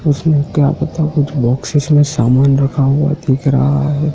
उसमें क्या पता कुछ बॉक्सेस में सामान रखा हुआ दिख रहा है।